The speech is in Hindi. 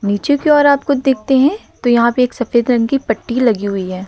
पीछे की ओर आप खुद देखते हैं तो यहां पे एक सफेद रंग की पट्टी लगी हुई है।